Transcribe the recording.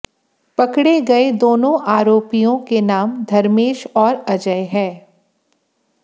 पकड़े गए दोनों आरोपियों के नाम धर्मेश और अजय है